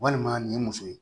Walima nin ye muso ye